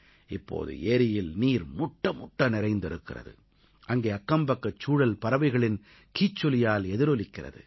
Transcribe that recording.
இப்போது ஏரியில் நீர் முட்டமுட்ட நிறைந்திருக்கிறது அங்கே அக்கம்பக்கச் சூழல் பறவைகளின் கீச்சொலியால் எதிரொலிக்கிறது